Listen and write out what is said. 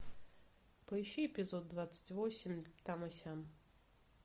поищи эпизод двадцать восемь там и сям